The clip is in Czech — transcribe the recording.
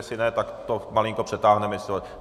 Jestli ne, tak to malinko přetáhneme.